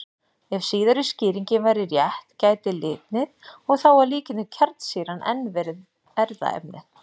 Ef síðari skýringin væri rétt gæti litnið, og þá að líkindum kjarnsýran, enn verið erfðaefnið.